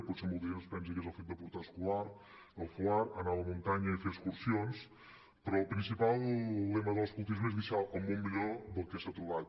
potser molta gent es pensa que és el fet de portar el fulard anar a la muntanya i fer excursions però el principal lema de l’escoltisme és deixar el món millor del que s’ha trobat